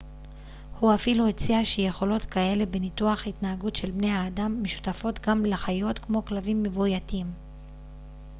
הוא אפילו הציע שיכולות כאלה בניתוח התנהגות של בני האדם משותפות גם לחיות כמו כלבים מבויתים